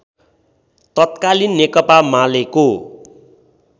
तत्कालीन नेकपा मालेको